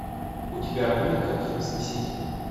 у тебя будет картина смеситель